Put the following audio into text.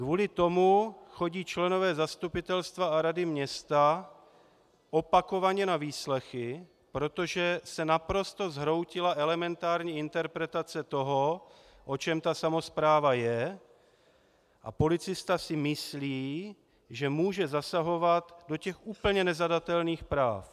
Kvůli tomu chodí členové zastupitelstva a rady města opakovaně na výslechy, protože se naprosto zhroutila elementární interpelace toho, o čem ta samospráva je, a policista si myslí, že může zasahovat do těch úplně nezadatelných práv.